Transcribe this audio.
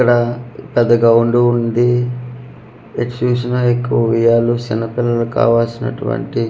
ఇక్కడ పెద్ద గ్రౌండు వుంది ఎటు చూసిన ఎక్కువ ఉయ్యాలు సిన్న పిల్లకు కావలసినటువంటి--